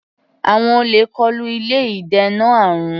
Àwọn olè kọlu ilé ìdènà àrùn.